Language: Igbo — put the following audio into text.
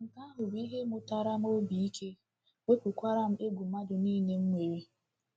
Nke ahụ bụ ihe mụtara m obi ike, wepụkwara m egwu mmadụ niile m m nwere!